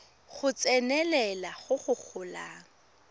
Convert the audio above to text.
go tsenelela go go golang